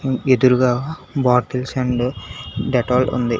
ఎదురుగా bottles and Dettol ఉంది.